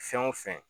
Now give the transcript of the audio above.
Fɛn o fɛn